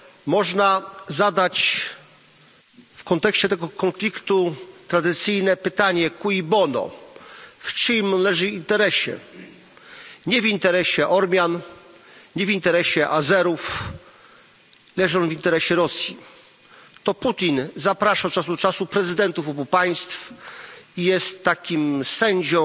Można zadać w kontekście tego konfliktu tradycyjne pytanie W czyim leży interesie? Nie w interesie Ormian, nie w interesie Azerów, leży on w interesie Rosji. To Putin zaprasza od czasu do czasu prezydentów obu państw i jest takim sędzią,